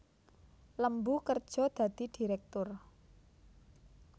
Lembu kerja dadi direktur